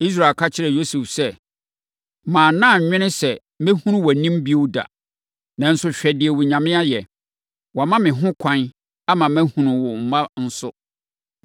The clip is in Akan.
Israel ka kyerɛɛ Yosef sɛ, “Manna mannwene sɛ mɛhunu wʼanim bio da, nanso hwɛ deɛ Onyame ayɛ. Wama me ho kwan ama mahunu wo mma nso.”